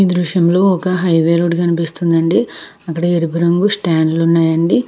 ఈ దృశ్యం లో ఒక హైవే రోడ్డు కనిపిస్తుంది అండి. అక్కడ ఎరుపు రంగు స్టాండ్లు ఉన్నాయండి.